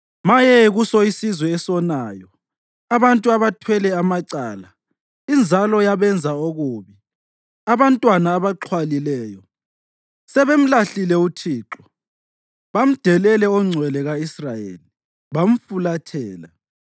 Maye kuso isizwe esonayo, abantu abathwele amacala, inzalo yabenza okubi, abantwana abaxhwalileyo! Sebemlahlile uThixo; bamdelele oNgcwele ka-Israyeli, bamfulathela.